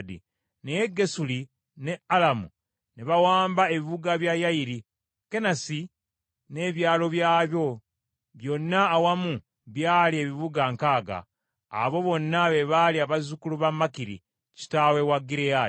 Naye Gesuli ne Alamu ne bawamba ebibuga bya Yayiri, Kenasi n’ebyalo byayo, byonna awamu byali ebibuga nkaaga. Abo bonna be baali abazzukulu ba Makiri, kitaawe wa Gireyaadi.